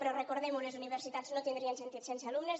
però recordem ho les universitats no tindrien sentit sense alumnes